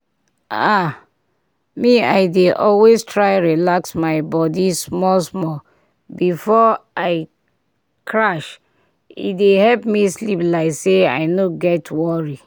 ah pause—me i dey always try relax my body small-small before i crash e dey help me sleep like say i no get worry.